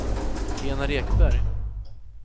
Enar Ekberg